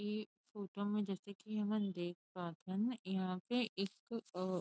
ए photo में जैसे की हमन देख पात हन यहां पे एक और